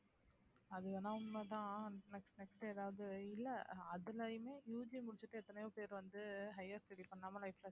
அது வேணா உண்மைதான் next next ஏதாவது இல்லை அதிலேயுமே UG முடிச்சுட்டு எத்தனையோ பேர் வந்து higher study பண்ணாம life ல